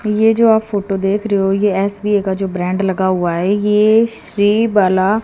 ये जो आप फोटो देख रहे हो ये एस_बी_आई का जो ब्रांड लगा हुआ है यह श्री वाला--